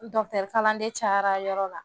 Dɔgɔtɔrɔ kalanden cayara yɔrɔ la